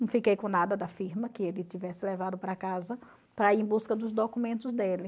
Não fiquei com nada da firma que ele tivesse levado para casa para ir em busca dos documentos dele.